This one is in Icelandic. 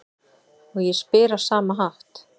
Og ég spyr á sama hátt: